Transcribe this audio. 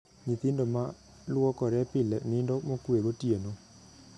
Nyithindo ma luokore pile nindo mokwe gotieno.